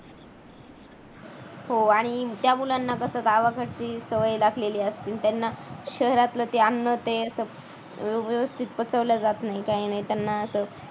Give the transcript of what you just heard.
हो आणि त्या मुलांना कसं गावाकडची सवय लागलेली असते त्यांना शहरातला त्या अन्नाचे रोज व्यवस्थित पचवल्या जात नाही काही नाही त्यांना असं